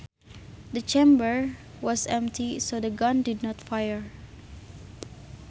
The chamber was empty so the gun did not fire